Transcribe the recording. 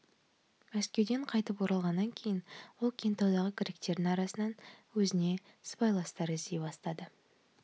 мәскеуден қайтып оралғаннан кейін ол кентаудағы гректердің арасынан өзіне сыбайластар іздей бастады